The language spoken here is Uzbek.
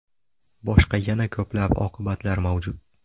Boshqa yana ko‘plab oqibatlar mavjud.